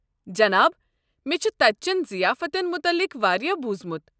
جناب، مےٚ چھُ تتہِ چین ضِیافتن متعلِق واریاہ بوٗزمُت۔